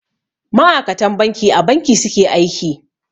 Ma'akatan banki a Banki su ke aiki.